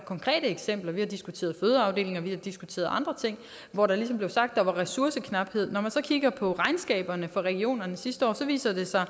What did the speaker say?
konkrete eksempler vi har diskuteret fødeafdelinger og vi har diskuteret andre ting hvor der ligesom blev sagt at der var ressourceknaphed men når man så kigger på regnskaberne for regionerne sidste år viser det sig